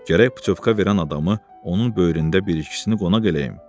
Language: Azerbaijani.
Gərək putyovka verən adamı onun böyründə bir ikisini qonaq eləyim.